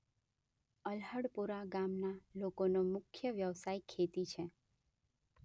અલ્હડપુરા ગામના લોકોનો મુખ્ય વ્યવસાય ખેતી છે.